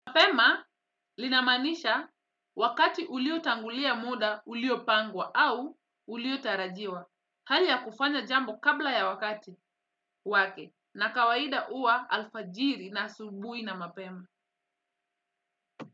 Mapema linamanisha wakati uliotangulia muda uliopangwa au uliotarajiwa. Hali ya kufanya jambo kabla ya wakati wake, na kawaida huwa alfajiri na asubuhi na mapema.